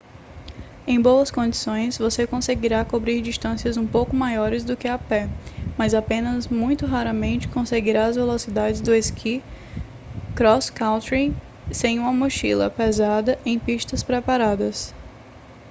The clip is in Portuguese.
em boas condições você conseguirá cobrir distâncias um pouco maiores do que a pé mas apenas muito raramente conseguirá as velocidades do esqui cross-country sem uma mochila pesada em pistas preparadas